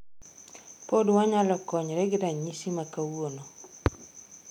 Pod wanyalo konyre gi ranyisi ma kawuono.